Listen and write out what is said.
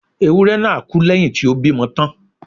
Ewúré náà kú lẹ́yìn tí ó bímọ tán